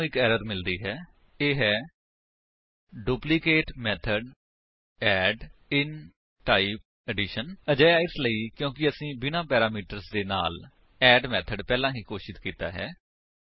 ਸਾਨੂੰ ਇੱਕ ਐਰਰ ਮਿਲਦੀ ਹੈ ਇਹ ਹੈ duplicate method add in type addition ਅਜਿਹਾ ਇਸਲਈ ਕਿਉਂਕਿ ਅਸੀਂ ਬਿਨਾਂ ਪੈਰਾਮੀਟਰਸ ਦੇ ਨਾਲ ਅੱਡ ਮੇਥਡ ਪਹਿਲਾਂ ਹੀ ਘੋਸ਼ਿਤ ਕੀਤਾ ਹੈ